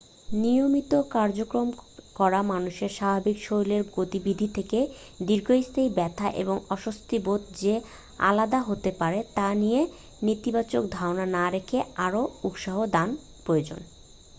নিয়মিত কাজকর্ম করা মানুষের স্বাভাবিক শারীরিক গতিবিধি থেকে দীর্ঘস্থায়ী ব্যথা এবং অস্বস্তি বোধ যে আলাদা হতে পারে তা নিয়ে নেতিবাচক ধারণা না রেখে আরও উৎসাহ দান প্রয়োজন